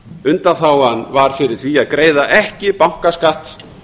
undanþágan var fyrir því að greiða ekki bankaskatt